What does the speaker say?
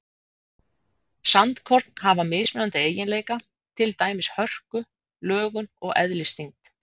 Sandkorn hafa mismunandi eiginleika, til dæmis hörku, lögun og eðlisþyngd.